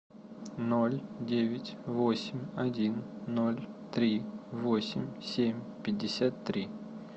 ноль девять восемь один ноль три восемь семь пятьдесят три